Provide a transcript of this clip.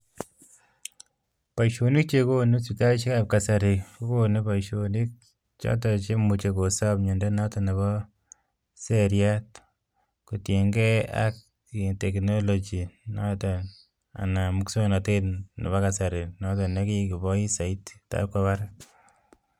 Boishonik chekonu sipitalishek ab kasari kokonu boishonik cheimuchi kosob mnyondo ab seriat kotinykei ak moswoknatet nekikoboi saiti